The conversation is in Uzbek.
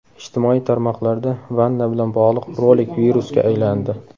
Ijtimoiy tarmoqlarda vanna bilan bog‘liq rolik virusga aylandi.